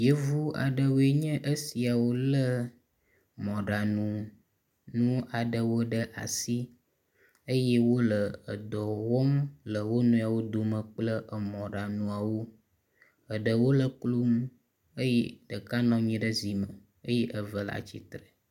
Yevu aɖewoe nye esiawo lé mɔɖaŋu aɖewo ɖe asi eye wole edɔ wɔm le wo nɔewo dome kple emɔɖaŋuawo, eɖewo le klonu eye ɖeka nɔ anyi ɖe zi me eye eve le atsitre.